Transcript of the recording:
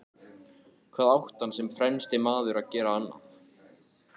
Hvað átti hann sem fremsti maður að gera annað?